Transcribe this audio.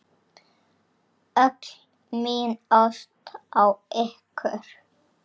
Öll mín ást á ykkur.